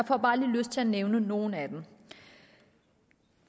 får bare lige lyst til at nævne nogle af dem